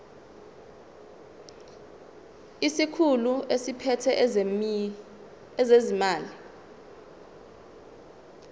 isikhulu esiphethe ezezimali